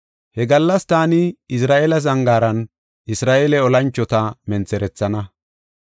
He gallas taani Izra7eela zangaaran Isra7eele olanchota mentherethana.